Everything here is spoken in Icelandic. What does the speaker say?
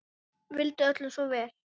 Vildi öllum svo vel.